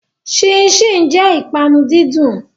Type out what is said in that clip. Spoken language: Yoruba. Ṣínṣìn jẹ́ ìpanu dídùn.